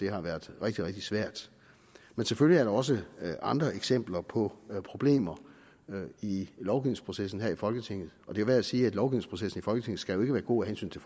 har været rigtig rigtig svært men selvfølgelig også andre eksempler på problemer i lovgivningsprocessen her i folketinget og det er værd at sige at lovgivningsprocessen skal være god af hensyn til